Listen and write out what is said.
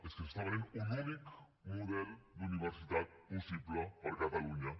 és que es ven un únic model d’universitat possible per a catalunya